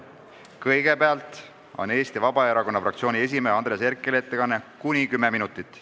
Kõigepealt on Eesti Vabaerakonna fraktsiooni esimehe Andres Herkeli ettekanne kuni 10 minutit.